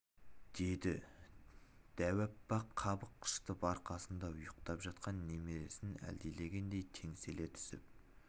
деді дәу апа қабақ шытып арқасында ұйықтап жатқан немересін әлдилегендей теңселе түсіп